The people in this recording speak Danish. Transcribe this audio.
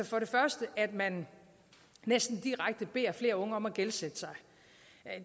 for det første at man næsten direkte beder flere unge om at gældsætte sig